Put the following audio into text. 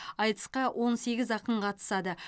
айтысқа он сегіз ақын қатысады